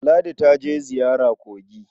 Ladi ta je ziyara kogi.